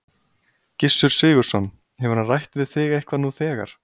Gissur Sigurðsson: Hefur hann rætt við þig eitthvað nú þegar?